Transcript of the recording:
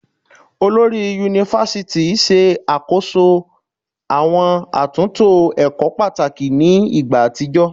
Olori Yunifásítì ṣe àkóso àwọn àtúntò ẹ̀kọ́ pàtàkì ní ìgbà àtijọ́